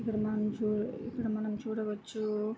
ఇక్కడ మనం చు ఇక్కడ మనం చూడవచ్చు--